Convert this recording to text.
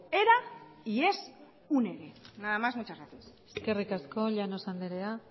era y es un ere nada más muchas gracias eskerrik asko llanos andrea